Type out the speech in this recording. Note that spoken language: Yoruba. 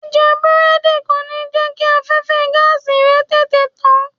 Jíjẹ Búrẹ́dì kò ní jẹ́ kí afẹ́fẹ́ẹ gáàsì rẹ tètè tán.